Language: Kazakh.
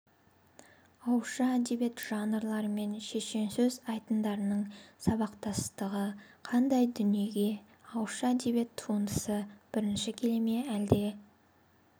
ауызша әдебиет жанрлары мен шешенсөз айтындарының сабақтастығы қандай дүниеге ауызша әдебиет туындысы бірінші келе ме әлде